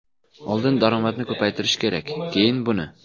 Oldin daromadni ko‘paytirish kerak, keyin buni.